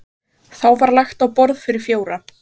Þá var lagt á borð fyrir fjóra.